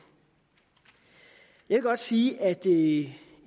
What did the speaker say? jeg vil godt sige at i